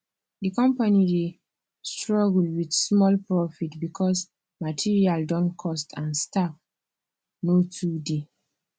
the company dey struggle with small profit because materials don cost and staff no too dey